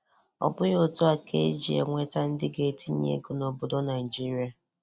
Ọbụghi otu a ka e ji enwete ndị ga etinye ego nobodo Naịjirịa.